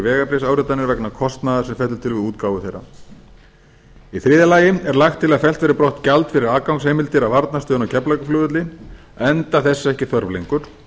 vegabréfsáritanir vegna kostnaðar sem fellur til við útgáfu þeirra í þriðja lagi er lagt til að fellt verði brott gjald fyrir aðgangsheimildir að varnarstöðinni á keflavíkurflugvelli enda þess ekki þörf lengur